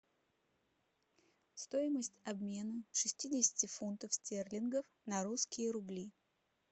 стоимость обмена шестидесяти фунтов стерлингов на русские рубли